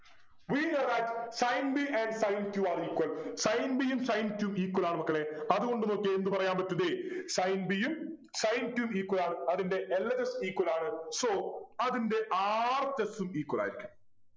We know that Sin b and sin q are equal Sin b യും sin q യും equal ആണ് മക്കളെ അതുകൊണ്ട് നോക്കിയേ എന്ത് പറയാൻ പറ്റും ദേ sin b യും sin q യും equal ആണ് അതിൻ്റ LHSequal ആണ് so അതിൻറെ RHS ഉം equal ആയിരിക്കും